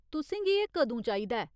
तुसेंगी एह् कदूं चाहिदा ऐ ?